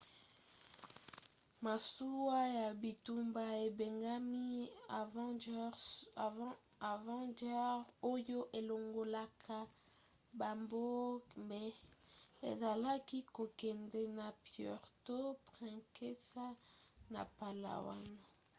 masuwa ya bitumba ebengami avenger oyo elongolaka babombe ezalaki kokende na puerto princesa na palawan